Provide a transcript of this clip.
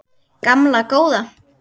Gamla góða